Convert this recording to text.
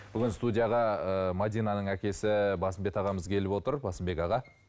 бүгін студияға ы мәдинаның әкесі басымбет ағамыз келіп отыр басымбек аға